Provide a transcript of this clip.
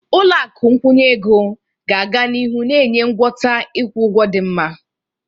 Ụlọ akụ nkwụnye ego ga-aga n'ihu na-enye ngwọta ịkwụ ụgwọ dị mma.